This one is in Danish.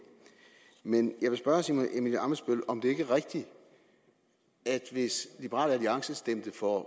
men jeg vil spørge herre simon emil ammitzbøll om det ikke er rigtigt at hvis liberal alliance stemte for